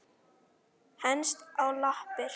Henst á lappir